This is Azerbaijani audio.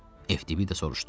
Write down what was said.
FTBida soruşdu: